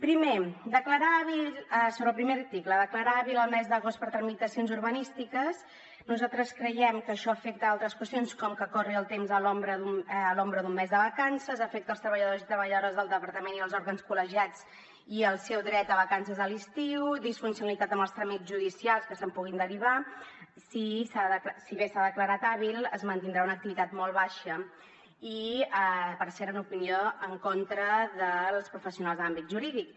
primer sobre el primer article declarar hàbil el mes d’agost per a tramitacions urbanístiques nosaltres creiem que això afecta altres qüestions com que corri el temps a l’ombra d’un mes de vacances afecta els treballadors i treballadores del departament i els òrgans col·legiats i el seu dret a vacances de l’estiu disfuncionalitat en els tràmits judicials que se’n puguin derivar si bé s’ha declarat hàbil es mantindrà una activitat molt baixa i per cert amb l’opinió en contra dels professionals de l’àmbit jurídic